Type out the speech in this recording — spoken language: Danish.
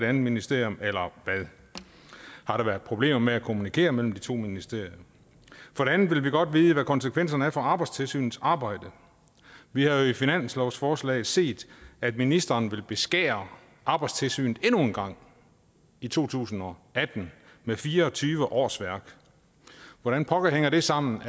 andet ministerium eller hvad har der været problemer med at kommunikere mellem de to ministerier for det andet vil vi godt vide hvad konsekvenserne er for arbejdstilsynets arbejde vi har jo i finanslovsforslaget set at ministeren vil beskære arbejdstilsynet endnu en gang i to tusind og atten med fire og tyve årsværk hvordan pokker hænger det sammen